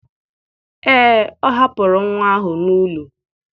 Ee, ọ hapụrụ nwa ahụ n'ụlọ.